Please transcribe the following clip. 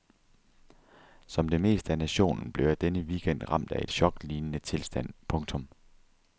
Som det meste af nationen blev jeg denne weekend ramt af en choklignende tilstand. punktum